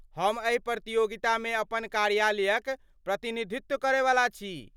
हम एहि प्रतियोगितामे अपन कार्यालयक प्रतिनिधित्व करैवाला छी।